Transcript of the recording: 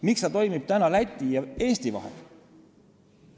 Miks see toimib täna Läti ja Eesti vahel?